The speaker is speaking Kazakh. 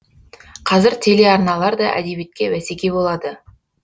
қазір телеарналар да әдебиетке бәсеке болады